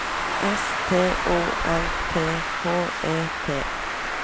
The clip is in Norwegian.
S T O L T H E T